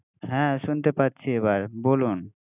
হ্যা শুনতে পারছি, এবার বলুন!